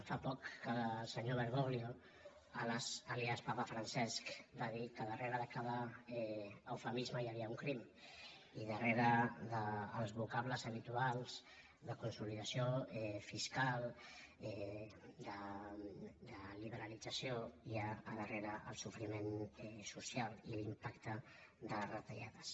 fa poc que el senyor bergoglio àlies papa francesc va dir que darrere de cada eufemisme hi havia un crim i darrere dels voca·bles habituals de consolidació fiscal de liberalitza·ció hi ha al darrere el sofriment social i l’impacte de les retallades